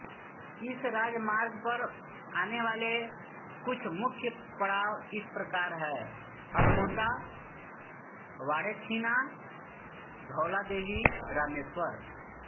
इस राजमार्ग पर आने वाले कुछ मुख्य पड़ाव इस प्रकार हैं अल्मोड़ा बाड़ेछीना धौलादेवी रामेश्वर